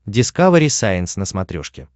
дискавери сайенс на смотрешке